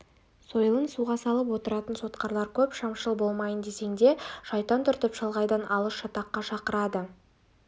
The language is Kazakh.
сойылын суға салып отыратын сотқарлар көп шамшыл болмайын десең де шайтан түртіп шалғайдан алып шатаққа шақырады